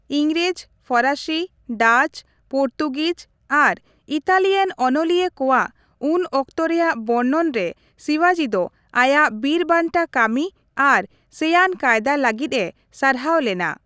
ᱤᱝᱨᱮᱡᱽ, ᱯᱷᱚᱨᱟᱥᱤ, Dutch, Portuguese ᱟᱨ ᱤᱛᱟᱞᱤᱭᱟᱱ ᱚᱱᱚᱞᱤᱭᱟᱹ ᱠᱚᱣᱟᱜ ᱩᱱ ᱚᱠᱛᱚ ᱨᱮᱭᱟᱜ ᱵᱚᱨᱱᱚᱱ ᱨᱮ ᱥᱤᱵᱟᱡᱤ ᱫᱚ ᱟᱭᱟᱜ ᱵᱤᱨᱵᱟᱱᱴᱟ ᱠᱟᱹᱢᱤ ᱟᱨ ᱥᱮᱭᱟᱱ ᱠᱟᱭᱫᱟ ᱞᱟᱹᱜᱤᱫᱼᱮ ᱥᱟᱨᱦᱟᱣ ᱞᱮᱱᱟ ᱾